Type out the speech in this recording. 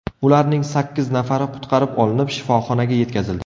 Ularning sakkiz nafari qutqarib olinib, shifoxonaga yetkazildi.